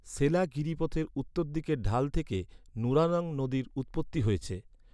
সেলা গিরিপথের উত্তরদিকের ঢাল থেকে নুরানং নদীর উৎপত্তি হয়েছে।